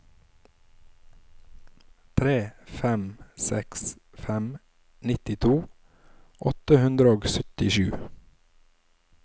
tre fem seks fem nittito åtte hundre og syttisju